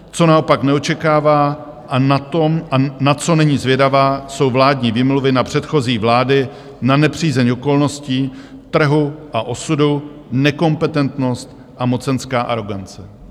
Co naopak neočekává a na co není zvědavá, jsou vládní výmluvy na předchozí vlády, na nepřízeň okolností trhu a osudu, nekompetentnost a mocenská arogance.